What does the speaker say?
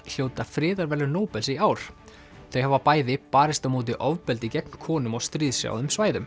hljóta friðarverðlaun Nóbels í ár þau hafa bæði barist á móti ofbeldi gegn konum á stríðshrjáðum svæðum